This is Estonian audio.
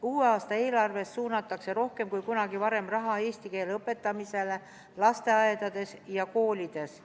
Uue aasta eelarvest suunatakse rohkem kui kunagi varem raha eesti keele õpetamisele lasteaedades ja koolides.